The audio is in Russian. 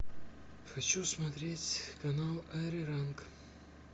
хочу смотреть канал ариранг